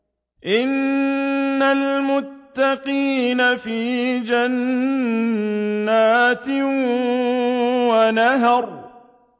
إِنَّ الْمُتَّقِينَ فِي جَنَّاتٍ وَنَهَرٍ